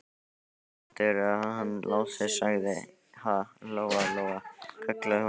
Hvað heldurðu að hann Lási segði, ha, Lóa Lóa, kallaði hún.